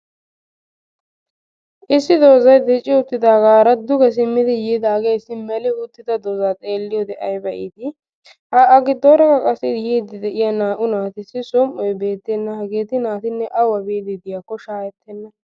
Issi doozayi dicci uttidaagaara duge simmidi yiidaage issi meli uttida dooza xeelliyode ayba iiti ha a giddoorakka yiiddi de"iya naa"u naatussi som"oyi beettenna hageeti naatinne awa biiddi de"iyakko shaahettenna.